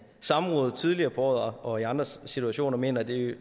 samrådet tidligere på året og i andre situationer mener at det